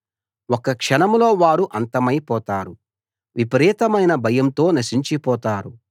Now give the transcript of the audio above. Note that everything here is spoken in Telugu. ఒక్క క్షణంలో వారు అంతమైపోతారు విపరీతమైన భయంతో నశించిపోతారు